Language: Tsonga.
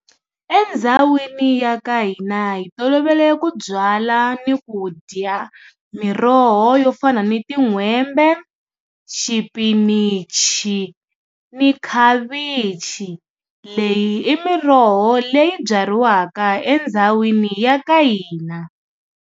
Endhawini ya ka hina hi tolovele ku byala ni ku dya miroho yo fana ni tin'hwembe kumbe xipinichi ni khavichi leyi i miroho leyi byariwaka endhawini ya ka hina.